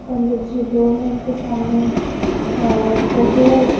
पंडित जी दो है इनके सामने अह बहु--